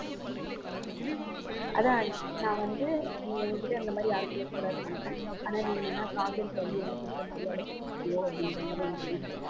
அதான் நான் வந்து நீ என்கிட்ட இருந்த மாதிரி யாரு கூடயும் இருக்கக் கூடாதுன்னு நினைப்பேன் ஆனா நீ பண்ணி எனக்கு கொடுத்த அப்படிங்கிற மாதிரி எனக்கு feel ஆச்சு